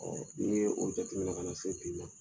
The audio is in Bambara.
Ɔ u ye o jateminɛ ka na se bi la